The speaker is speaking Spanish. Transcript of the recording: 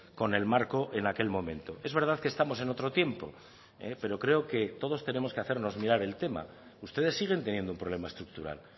con el marco en aquel momento es verdad que estamos en otro tiempo pero creo que todos tenemos que hacernos mirar el tema ustedes siguen teniendo un problema estructural